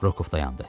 Rokov dayandı.